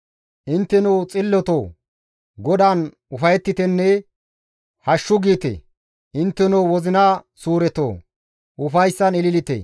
Intteno xillotoo! GODAAN ufayettitenne «Hashshu!» giite; intteno wozina suuretoo! Ufayssan ililite!